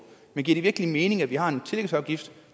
men giver det virkelig mening at vi har en tillægsafgift